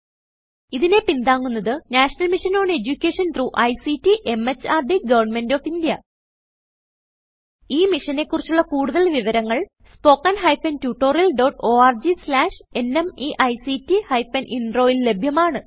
ഇതിനെ പിന്താങ്ങുന്നത് national mission on education through ICT MHRD government of India ഈ മിഷനെ കുറിച്ചുള്ള കുടുതൽ വിവരങ്ങൾ spoken hyphen tutorial dot org slash NMEICT hyphen Introൽ ലഭ്യമാണ്